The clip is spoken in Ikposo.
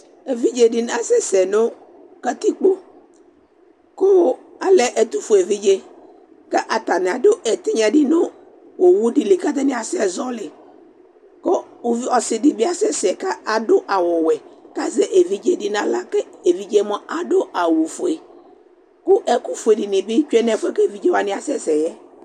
Evidze dɩnɩ asɛsɛ nʋ katikpo kʋ alɛ ɛtʋfue evidze kʋ atanɩ adʋ ɛtɩnya dɩ nʋ owu dɩ li kʋ atanɩ asɛzɔɣɔlɩ kʋ uvi ɔsɩ dɩ asɛsɛ kʋ adʋ awʋwɛ kʋ azɛ evidze dɩ nʋ aɣla kʋ evidze yɛ mʋa, adʋ awʋfue kʋ ɛkʋfue dɩnɩ bɩ tsue nʋ ɛfʋ yɛ kʋ evidze wanɩ asɛsɛ yɛ